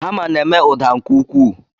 Hama na-eme ụda nke ukwuu.